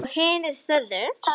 Hann er að skemma.